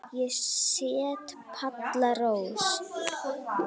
Ég set Palla Rós.